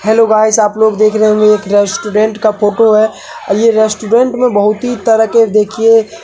hello guys आप लोग देख रहे होंगे एक रेस्टोरंट का फोटो है यह रेस्टोरंट में बहुत ही तरीके के देखिए --